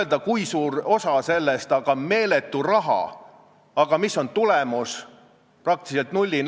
Vaatame kas või seda, kui oluliseks on erakond pidanud – ja ma ütlen teile ausalt, on ka tegelikult pidanud – eesti keelt ja eesti keele positsiooni.